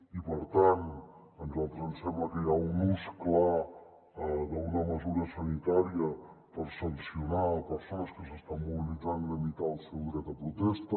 i per tant a nosaltres ens sembla que hi ha un ús clar d’una mesura sanitària per sancionar persones que s’estan mobilitzant i limitar el seu dret de protesta